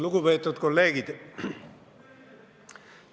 Lugupeetud kolleegid!